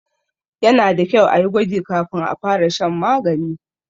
Yana da kyau a yi gwaji kafin a fara shan magani.